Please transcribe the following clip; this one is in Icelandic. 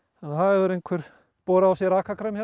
það hefur einhver borið á sig rakakrem